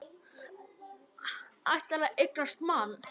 Ætlar að eignast mann.